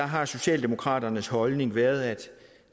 har socialdemokraternes holdning været at